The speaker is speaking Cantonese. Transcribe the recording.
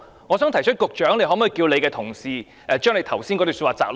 我想提出，局長可否請他的同事提供他剛才發言的摘錄？